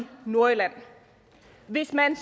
nordjylland hvis man